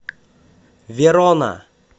верона